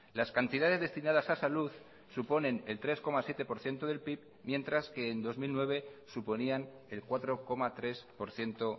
las cantidades destinadas a salud suponen el tres coma siete por ciento del pib mientras que en dos mil nueve suponían el cuatro coma tres por ciento